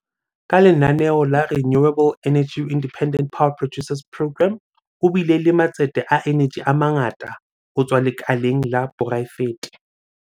Ka lenaneo la Renewable Energy Independent Power Producers Programme, ho bile le matsete a eneji a mangata ho tswa lekaleng la poraefete.